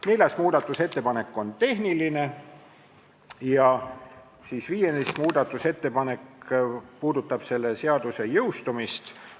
Neljas muudatusettepanek on tehniline ja viies muudatusettepanek puudutab selle seaduse jõustumist.